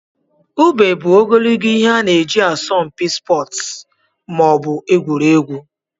Ube bụ ogologo ihe ana eji na asọmpi sportu maọbu egwuregwu.